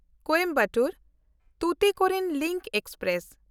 Coimbatore-Tuticorin link express